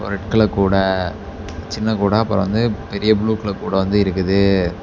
ஒரு red colour கூட சின்ன கூட அப்பர வந்து பெரிய ப்ளூ கலர் கூட வந்து இருக்குது.